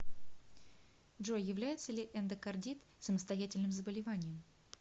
джой является ли эндокардит самостоятельным заболеванием